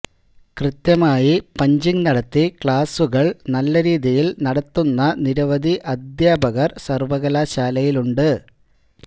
കൃത്യമായി പഞ്ചിങ് നടത്തി ക്ലാസ്സുകള് നല്ലരീതിയില് നടത്തുന്ന നിരവധി അധ്യാപകര് സര്വകലാശാലയിലുണ്ട്